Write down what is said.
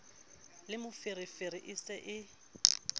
le moferefere e se e